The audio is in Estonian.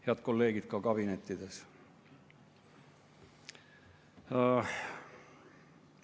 Head kolleegid ka kabinettides!